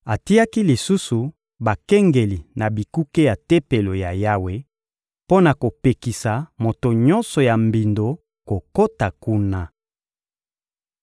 Atiaki lisusu bakengeli na bikuke ya Tempelo ya Yawe mpo na kopekisa moto nyonso ya mbindo kokota kuna.